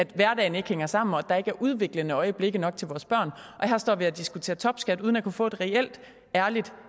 hverdagen ikke hænger sammen og der ikke er udviklende øjeblikke nok til vores børn og her står vi så og diskuterer topskat uden at kunne få et reelt ærligt